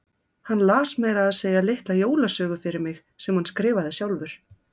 Hann las meira að segja litla jólasögu fyrir mig sem hann skrifaði sjálfur.